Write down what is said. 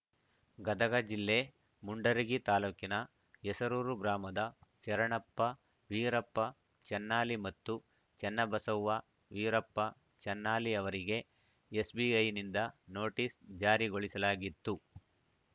ಗದಗ ಜಿಲ್ಲೆ ಮುಂಡರಗಿ ತಾಲೂಕಿನ ಹೆಸರೂರು ಗ್ರಾಮದ ಶರಣಪ್ಪ ವೀರಪ್ಪ ಚನ್ನಾಲಿ ಮತ್ತು ಚನ್ನಬಸವ್ವ ವೀರಪ್ಪ ಚನ್ನಾಲಿ ಅವರಿಗೆ ಎಸ್‌ಬಿಐನಿಂದ ನೋಟಿಸ್‌ ಜಾರಿಗೊಳಿಸಲಾಗಿತ್ತು